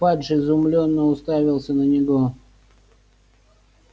фадж изумлённо уставился на него